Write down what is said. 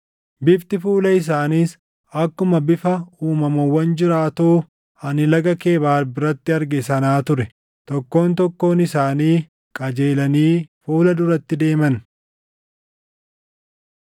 Bifti fuula isaaniis akkuma bifa uumamawwan jiraatoo ani Laga Kebaar biratti arge sanaa ture. Tokkoon tokkoon isaanii qajeelanii fuula duratti deeman.